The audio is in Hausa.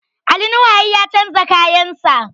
Ali Nuhu har ya canza kayan sa